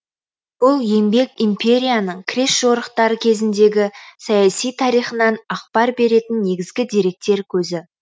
бұл еңбек империяның крест жорықтары кезіндегі саяси тарихынан ақпар беретін негізгі деректер көзі